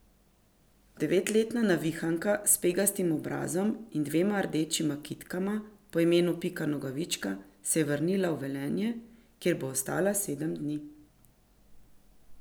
Devetletna navihanka s pegastim obrazom in dvema rdečima kitkama po imenu Pika Nogavička se je vrnila v Velenje, kjer bo ostala sedem dni.